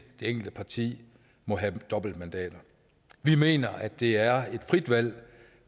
det enkelte parti må have dobbeltmandater vi mener at det er et frit valg